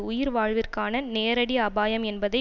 உயிர்வாழ்விற்கான நேரடி அபாயம் என்பதை